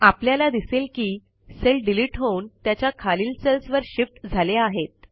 आपल्याला दिसेल की सेल डिलिट होऊन त्याच्या खालील सेल्स वर शिफ्ट झाले आहेत